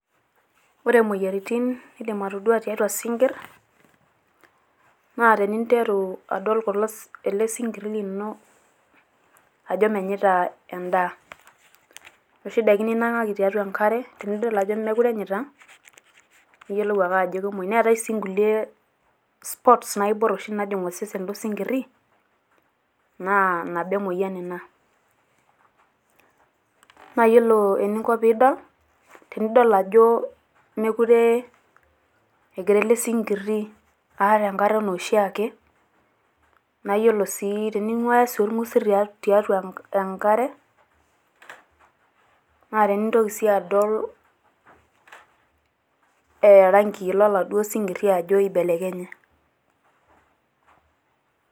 Ore moyiaritin naidim atodua tiatua isinkirr, naa teninteru adol kulo ele sinkirri lino ajo menyaita endaa . Inoshi daiki ninang`aki tiatua enkare tenidol ajo meekure enyaita niyiolou ake ajo kemuoi. Neetai sii nkulie spots naibor naajing osesen lo sinkirri naa nabo e moyian ina. Naa yiolo eninko pee idol tenidol ajo meekure egira ele sinkirri aar enkare enaa oshiake naa tening`uaya sii olng`usil tiatua enkare naa tenintoki sii adol irangii loladuo sinkirri jo eibelekenye.